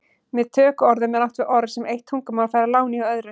Með tökuorðum er átt við orð sem eitt tungumál fær að láni hjá öðru.